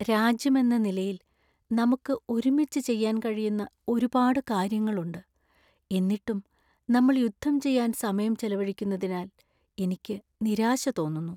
രാജ്യമെന്ന നിലയിൽ നമുക്ക് ഒരുമിച്ച് ചെയ്യാൻ കഴിയുന്ന ഒരുപാട് കാര്യങ്ങളുണ്ട്, എന്നിട്ടും നമ്മള്‍ യുദ്ധം ചെയ്യാൻ സമയം ചെലവഴിക്കുന്നതിനാൽ എനിക്ക് നിരാശ തോന്നുന്നു.